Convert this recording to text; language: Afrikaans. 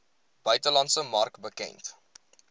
buitelandse mark bekend